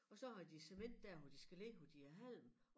Og så har de cement dér hvor de skal ligge hvor de har halm